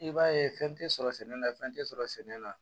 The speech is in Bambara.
I b'a ye fɛn tɛ sɔrɔ sɛnɛ la fɛn tɛ sɔrɔ sɛnɛ la